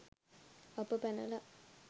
අප පැනලා